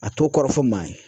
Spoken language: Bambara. A t'o kɔrɔ fɔ maa ye